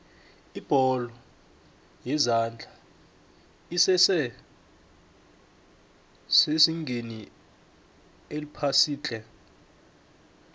ibholo yezandla esese sezingeni eliphasiitle